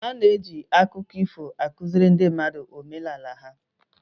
Ana eji akụkọ ifo akụziri ndị mmadụ omenala ha